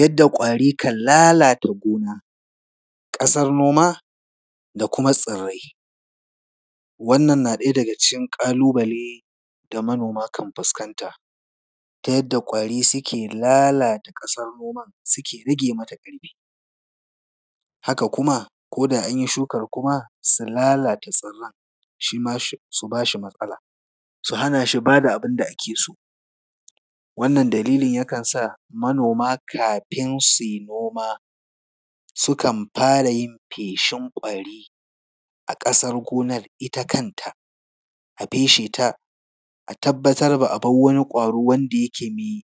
Yadda ƙwari kan lalata gona, ƙasar noma da kuma tsirrai. Wannan na ɗaya daga cikin ƙalu-bale da manoma kan fuskanta ta yadda ƙwari suke lalata ƙasar noma suke rage mata ƙarfi. Haka kuma ko da an yi shukar kuma, su lalata shi, shi ma, su hana shi ba da tsirran, shi ma su ba shi matsala, su hana shi ba da abin da ake so. Wannan dalilin yakan sa manoma kafin su yi noma sukan fara yin feshin ƙwari a ƙasar gonar ita kanta, a feshe ta, a tabbatar ba a bar wani ƙwaro wanda yake mai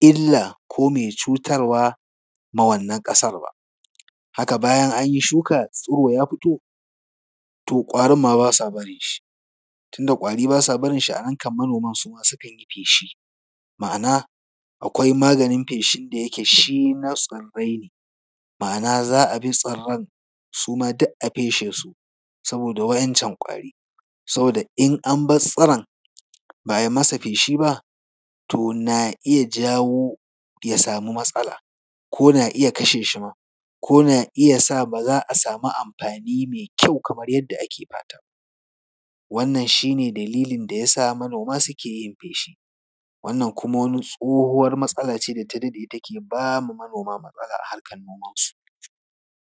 illa ko mai cutarwa ma wannan ƙasar ba. Haka bayan an yi shuka, tsiro ya fito, to ƙwarin ma ba sa barin shi. Tunda ƙwari ba sa barin shi, a nan kam manoma su ma sukan yi feshi, ma’ana akwai maganin feshin da yake shin na tsirrai ne, ma’ana za a bi tsirrran su ma duk a feshe su, saboda waɗancan ƙwari. Saboda in in bar tsiron, ba a yi masa feshi ba, to na iya jawo ya samu matsala, ko na iya kashe shi ma, ko na iya sa ba za a samu amfani mai kyau kamar yadda ake fata ba. Wannan shi ne dalilin da ya sa manoma suke yin feshi. Wannan kuma wani tsohuwar matsala ce da ta daɗe take ba ma manoma matsala a harkar nomansu.